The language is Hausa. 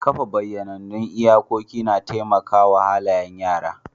Kafa bayyanannun iyakoki na taimaka wa halayen yara.